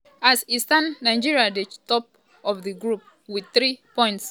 as e stand nigeria dey top of di group wit three points.